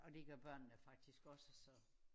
Og det gør børnene faktisk også så